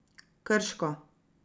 Krško.